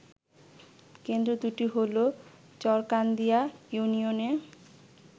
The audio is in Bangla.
কেন্দ্র দুটি হল চরকান্দিয়া ইউনিয়নে